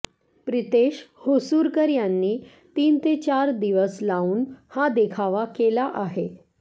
प्रितेश होसुरकर यांनी तीन ते चार दिवस लावून हा देखावा केला आहे